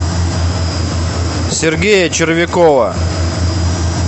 сергея червякова